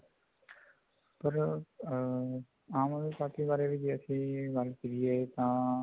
ਪਰ ਅਮ ਆਮ ਆਦਮੀ ਪਾਰਟੀ ਬਾਰੇ ਵੀ ਜੇ ਅਸੀਂ ਗੱਲ ਕਰੀਏ ਤਾਂ